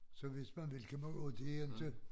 Så hvis man vil kan man og det inte